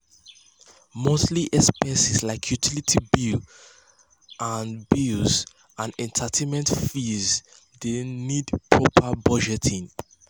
monthly expenses like utility bills and bills and entertainment fees de need proper budgeting.